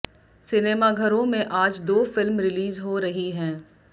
सिनेमाघरों में आज दो फिल्म रिलीज हो रही हैं